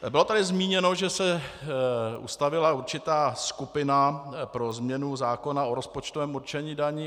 Bylo tady zmíněno, že se ustavila určitá skupina pro změnu zákona o rozpočtovém určení daní.